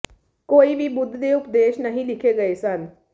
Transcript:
ਕੋਈ ਵੀ ਬੁੱਧ ਦੇ ਉਪਦੇਸ਼ ਨਹੀਂ ਲਿਖੇ ਗਏ ਸਨ